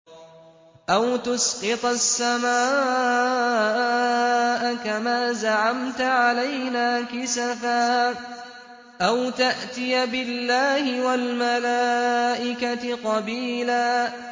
أَوْ تُسْقِطَ السَّمَاءَ كَمَا زَعَمْتَ عَلَيْنَا كِسَفًا أَوْ تَأْتِيَ بِاللَّهِ وَالْمَلَائِكَةِ قَبِيلًا